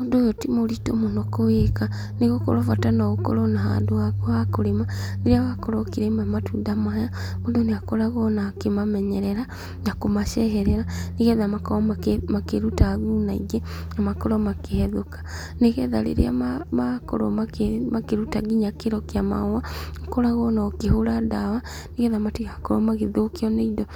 Ũndũ ũyũ ti mũritũ mũno kũwĩka. Nĩ gũkorwo bata no ũkorwo na handu haku ha kũrĩma. Rĩrĩa wakorwo ũkĩrĩma matunda maya, mũndũ nĩ akoragwo ona akĩmamenyerera, na kũmaceherera, nĩgetha makorwo makĩruta thuna ingĩ, na makorwo makĩhethũka. Nĩgetha rĩrĩa makorwo makĩruta nginya kĩro kĩa mahũa, ũkũragwo ona ũkĩhũra ndawa, nĩgetha matigakorwo magĩthũkio nĩ indo